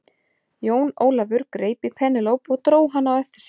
Jón Ólafur greip í Penélope og dró hana á eftir sér.